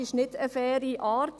Dies ist nicht eine faire Art.